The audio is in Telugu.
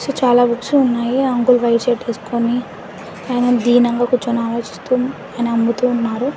బుక్స్ చాలా బుక్స్ ఉన్నాయి ఆ అంకుల్ వైట్ షర్ట్ ఎసకొని ఆయన ధీనం గా కూర్చొని ఆలోచిస్తూ ఆయన అమ్ముతూ ఉన్నారు.